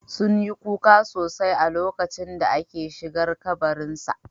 Sun yi kuka sosai a lokacin da aka shigar da kabarin sa